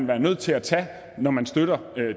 være nødt til at tage det forbehold når man støtter